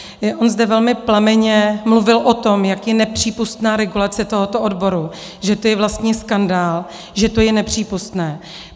On zde velmi plamenně mluvil o tom, jak je nepřípustná regulace tohoto odboru, že to je vlastně skandál, že to je nepřípustné.